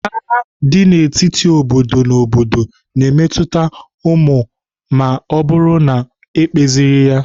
Agha dị n'etiti obodo na obodo na-emetụta ụmụ ma ọ bụrụ na ekpezighi ya.